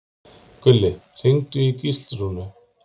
Gulli, hringdu í Gíslrúnu.